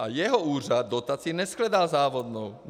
A jeho úřad dotaci neshledal závadnou.